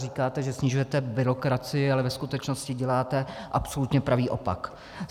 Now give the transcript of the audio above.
Říkáte, že snižujete byrokracii, ale ve skutečnosti děláte absolutně pravý opak.